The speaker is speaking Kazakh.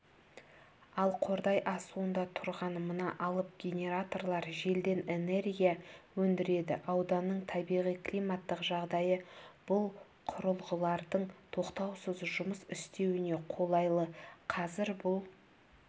ал қордай асуында тұрған мына алып генераторлар желден энергия өндіреді ауданның табиғи-климаттық жағдайы бұл құрылғылардың тоқтаусыз жұмыс істеуіне қолайлы қазір бұл